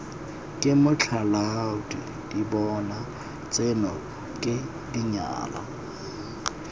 ke matlholaadibona tseno ke dinyana